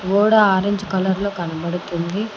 గోడ orange colour లో కనపడుతుంది.